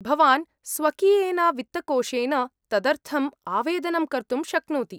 भवान् स्वकीयेन वित्तकोशेन तदर्थम् आवेदनं कर्तुं शक्नोति।